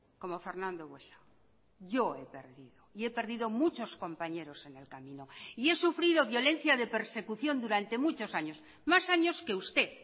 como fernando buesa yo he perdido y he perdido muchos compañeros en el camino y he sufrido violencia de persecución durante muchos años más años que usted